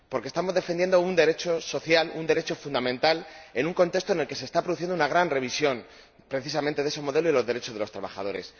Porque estamos defendiendo un derecho social, un derecho fundamental, en un contexto en el que se está produciendo una gran revisión, precisamente, de ese modelo y de los derechos de los trabajadores.